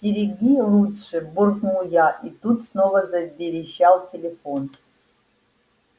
стереги лучше буркнул я и тут снова заверещал телефон